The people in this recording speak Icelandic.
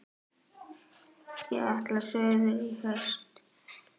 Ég ætla suður í haust.